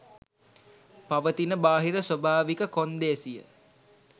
පවතින බාහිර ස්වභාවික කොන්දේසිය